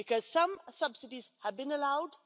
Some subsidies have been allowed